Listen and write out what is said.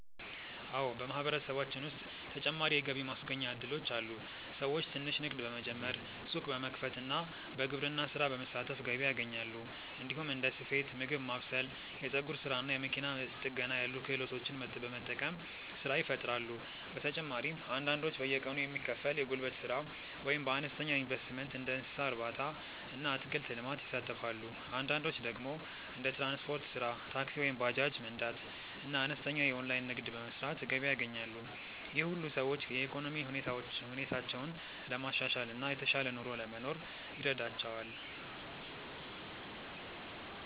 አዎ፣ በማህበረሰባችን ውስጥ ተጨማሪ የገቢ ማስገኛ እድሎች አሉ። ሰዎች ትንሽ ንግድ በመጀመር፣ ሱቅ በመክፈት እና በግብርና ስራ በመሳተፍ ገቢ ያገኛሉ። እንዲሁም እንደ ስፌት፣ ምግብ ማብሰል፣ የፀጉር ስራ እና መኪና ጥገና ያሉ ክህሎቶችን በመጠቀም ስራ ይፈጥራሉ። በተጨማሪም አንዳንዶች በየቀኑ የሚከፈል የጉልበት ስራ ወይም በአነስተኛ ኢንቨስትመንት እንደ እንስሳ እርባታ እና አትክልት ልማት ይሳተፋሉ። አንዳንዶች ደግሞ እንደ ትራንስፖርት ስራ (ታክሲ ወይም ባጃጅ መንዳት) እና አነስተኛ የኦንላይን ንግድ በመስራት ገቢ ያገኛሉ። ይህ ሁሉ ሰዎች የኢኮኖሚ ሁኔታቸውን ለማሻሻል እና የተሻለ ኑሮ ለመኖር ይረዳቸዋል።